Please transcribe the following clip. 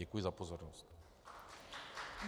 Děkuji za pozornost.